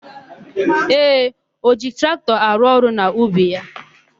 Ee, o ji traktọ arụ ọrụ n'ubi ya.